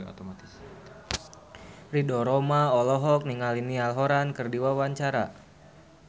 Ridho Roma olohok ningali Niall Horran keur diwawancara